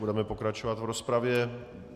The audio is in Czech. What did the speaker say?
Budeme pokračovat v rozpravě.